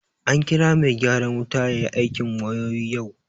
An kira mai gyaran wuta ya yi aikin wayoyi yau